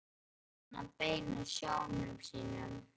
Hvert á hann að beina sjónum sínum?